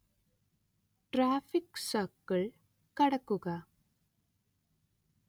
traffic circle കടക്കുക